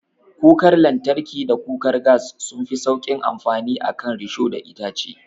Kukar lantarki da kukar gas sunfi sauƙin amfani a kan risho da itace.